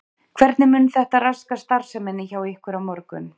Hvernig mun þetta raska starfseminni hjá ykkur á morgun?